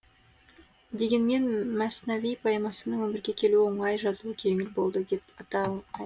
дегенмен мәснави поэмасының өмірге келуі оңай жазылуы жеңіл болды деп айта